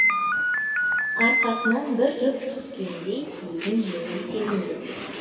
арқасынан бір жүк түскендей өзін жеңіл сезінді